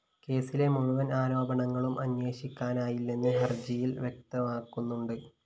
കേസിലെ മുഴുവന്‍ ആരോപണങ്ങളും അന്വേഷിക്കാനായില്ലെന്ന് ഹര്‍ജിയില്‍ വ്യക്തമാക്കുന്നുണ്ട്